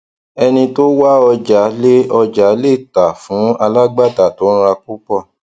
ẹni tó wá ọjà le ọjà le tà fún alágbàtà tó n ra púpò